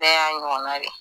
Bɛɛ y'a ɲɔgɔnna de ye.